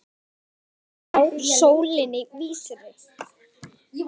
Ganga þá að sólinni vísri.